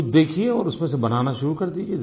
कुछ देखिये और उसमे से बनाना शुरू कर दीजिये